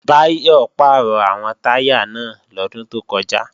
Báyọ̀ pàrọ̀ àwọn táyà náà lọ́dún tó kọjá